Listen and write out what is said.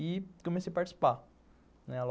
E comecei a participar.